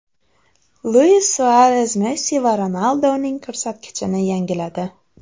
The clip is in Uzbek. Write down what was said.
Luis Suares Messi va Ronaldoning ko‘rsatkichini yangiladi.